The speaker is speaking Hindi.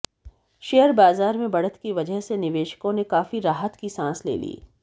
शेयर बाजार में बढ़त की वजह से निवेशकों ने काफी राहत की सांस ले ली